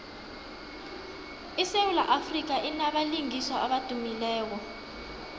isewula afrika inabalingiswa abadumileko